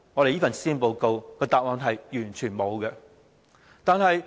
這份施政報告完全沒有答案。